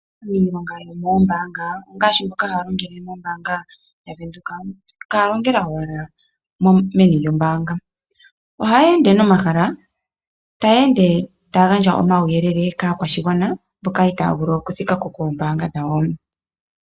Iilonga yoomoombanga, ngaashi mboka haya longele mombaanga yavenduka, kaya longela owala meni lyombaanga. Ohayeende nomahala, taya ende taya gandja omauyelele kaakwashigwana, mboka itaaya vulu okuthika ko koombaanga dhawo.